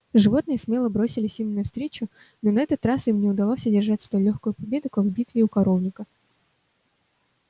животные смело бросились им навстречу но на этот раз им не удалось одержать столь лёгкую победу как в битве у коровника